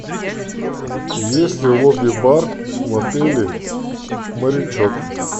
есть ли лобби бар в отеле морячок